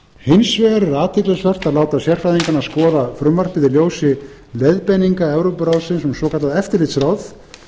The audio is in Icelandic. hins vegar er athyglisvert að láta sérfræðingana skoða frumvarpið í ljósi leiðbeininga evrópuráðsins um svokallað eftirlitsráð